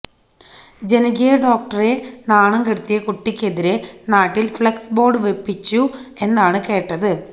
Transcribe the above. ജനകീയ ഡോക്ടറെ നാണം കെടുത്തിയ കുട്ടിക്കെതിരെ നാട്ടിൽ ഫ്ലെക്സ് ബോർഡ് വപ്പിച്ചു എന്നാണ് കേട്ടത്